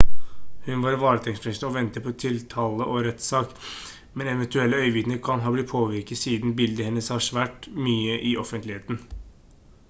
hun er varetektsfengslet og venter på tiltale og rettssak men eventuelle øyenvitner kan kan ha blitt påvirket siden bildet hennes har vært mye i offentligheten